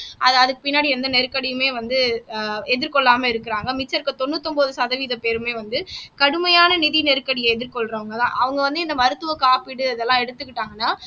அது அதுக்கு பின்னாடி எந்த நெருக்கடியுமே வந்து ஆஹ் எதிர் கொள்ளாம இருக்கறாங்க மிச்சம் இருக்கிற தொண்ணூத்தி ஒன்பது சதவீத பேருமே வந்து கடுமையான நிதி நெருக்கடியை எதிர்கொள்றவங்கதான் அவங்க வந்து இந்த மருத்துவ காப்பீடு இதெல்லாம் எடுத்துக்கிட்டாங்கன்னா